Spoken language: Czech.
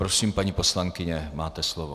Prosím, paní poslankyně, máte slovo.